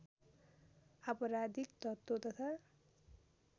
आपराधिक तत्त्व तथा